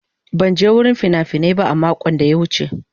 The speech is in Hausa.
Ban je wurin fina-finai ba a makon da ya wuce.